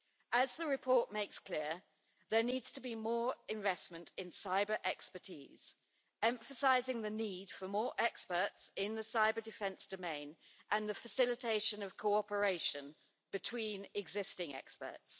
As the report makes clear, there needs to be more investment in cyber-expertise, emphasising the need for more experts in the cyber-defence domain and the facilitation of cooperation between existing experts.